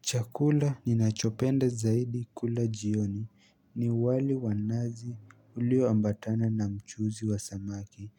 Chakula ninachopenda zaidi kula jioni ni wali wa nazi ulioambatana na mchuzi wa samaki